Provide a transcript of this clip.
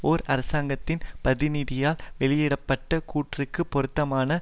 ஓர் அரசாங்கத்தின் பிரதிநிதியால் வெளியிட பட்ட கூற்றுக்குப் பொருத்தமான